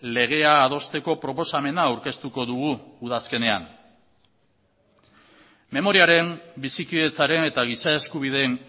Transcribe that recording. legea adosteko proposamena aurkeztuko dugu udazkenean memoriaren bizikidetzaren eta giza eskubideen